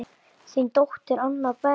Þín dóttir, Anna Berg.